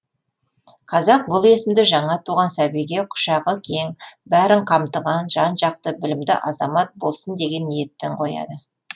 қазақ бұл есімді жаңа туған сәбиге құшағы кең бәрін қамтыған жан жақты білімді азамат болсын деген ниетпен қояды